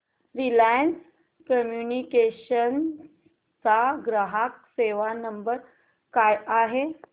Reliance communications चा ग्राहक सेवा नंबर काय आहे